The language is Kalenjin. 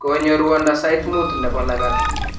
konyo ruondo sait mut nebo lagat